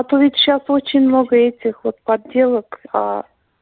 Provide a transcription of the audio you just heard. а то ведь сейчас очень много этих вот подделок а